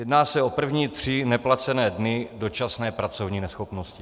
Jedná se o první tři neplacené dny dočasné pracovní neschopnosti.